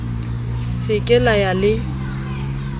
se ke la ya le